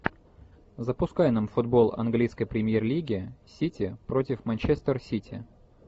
запускай нам футбол английской премьер лиги сити против манчестер сити